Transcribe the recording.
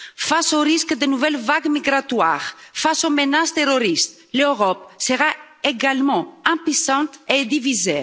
Face au risque de nouvelles vagues migratoires, face aux menaces terroristes, l'Europe sera également impuissante et divisée.